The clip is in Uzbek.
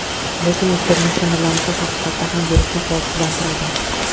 Lekin ultrabinafsha nurlanishi haqiqatan ham virusni qurolsizlantiradi.